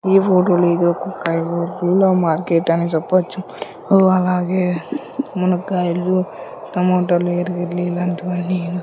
ఈ ఊర్లో ఇది ఒక కాయగూరల మార్కెట్ అని చెప్పొచ్చు అలాగే మునక్కాయలు టమోటాలు ఇలాంటివన్నీ--